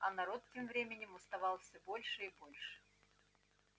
а народ тем временем уставал всё больше и больше